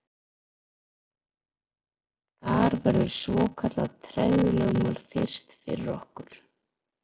Þar verður svokallað tregðulögmál fyrst fyrir okkur.